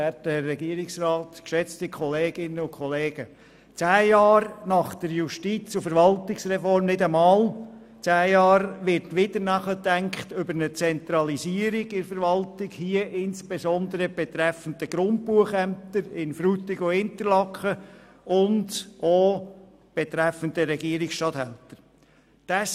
Nach nicht einmal zehn Jahren seit der Justiz- und Verwaltungsreform wird wieder über eine Zentralisierung in der Verwaltung, insbesondere betreffend die Grundbuchämter in Frutigen und Interlaken und auch betreffend die Regierungsstatthalterämter nachgedacht.